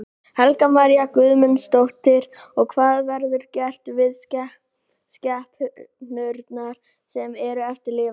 Helga María Guðmundsdóttir: Og hvað verður gert við skepnurnar sem eru eftir lifandi?